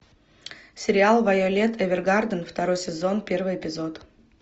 сериал вайолет эвергарден второй сезон первый эпизод